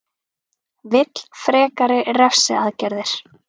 Vill frekari refsiaðgerðir